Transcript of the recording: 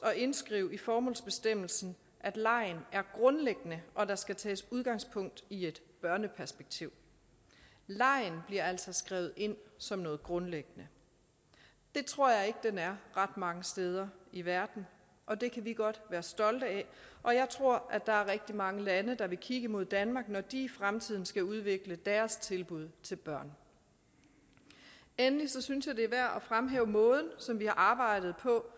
at indskrive i formålsbestemmelsen for at legen er grundlæggende og at der skal tages udgangspunkt i et børneperspektiv legen bliver altså skrevet ind som noget grundlæggende det tror jeg ikke den er ret mange steder i verden og det kan vi godt være stolte af og jeg tror der er rigtig mange lande der vil kigge mod danmark når de i fremtiden skal udvikle deres tilbud til børn endelig synes jeg det er værd fremhæve måden som vi har arbejdet på